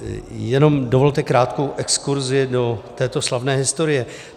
Jenom dovolte krátkou exkurzi do této slavné historie.